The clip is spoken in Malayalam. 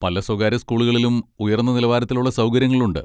പല സ്വകാര്യ സ്കൂളുകളിലും ഉയർന്ന നിലവാരത്തിലുള്ള സൗകര്യങ്ങളുണ്ട്.